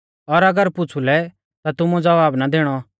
और अगर पुछ़ुलै ता तुमुऐ ज़वाब ना दैणौ